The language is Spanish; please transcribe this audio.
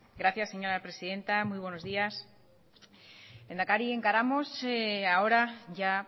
gracias señora presidenta muy buenos días lehendakari encaramos ahora ya